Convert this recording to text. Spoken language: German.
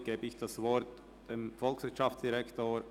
Somit erteile ich das Wort dem Volkswirtschaftsdirektor.